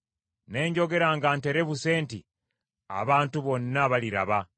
Ne njogera nga nterebuse nti, “Abantu bonna baliraba.”